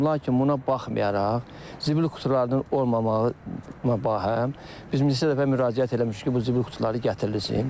Lakin buna baxmayaraq, zibil qutularının olmamağına bərabər, biz neçə dəfə müraciət eləmişdik ki, bu zibil qutuları gətirilsin.